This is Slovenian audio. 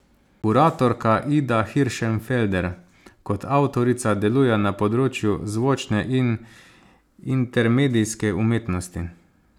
Kuratorka Ida Hiršenfelder kot avtorica deluje na področju zvočne in intermedijske umetnosti.